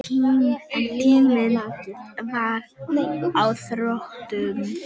En tíminn var á þrotum.